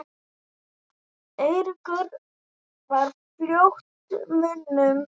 Eiríkur var mjótt á munum?